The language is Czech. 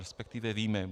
Respektive víme.